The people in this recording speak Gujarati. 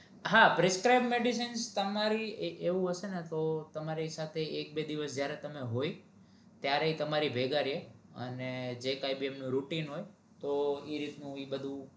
હા prescribe medicine તમારી એવુ હસે ને તો તમરે એક એક બે દિવસ જયારે તમે હોય ત્યારે ઈ તમારી ભેગા રયે અને જે કાઇ ભી એમનુ routine હોય તો ઈ રીતનું ઈ બધું